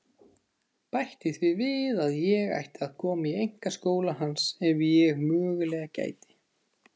Bætti því við að ég ætti að koma í einkaskóla hans ef ég mögulega gæti.